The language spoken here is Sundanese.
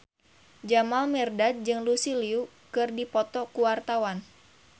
Jamal Mirdad jeung Lucy Liu keur dipoto ku wartawan